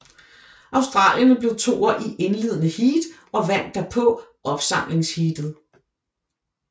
Australierne blev toer i indledende heat og vandt derpå opsamlingsheatet